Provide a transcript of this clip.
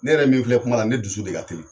Ne yɛrɛ min filɛ kuma na, ne dusu de ka teli.